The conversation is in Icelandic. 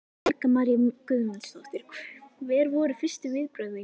Helga María Guðmundsdóttir: Hver voru fyrstu viðbrögð þín?